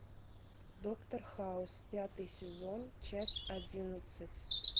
доктор хаус пятый сезон часть одиннадцать